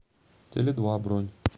теледва бронь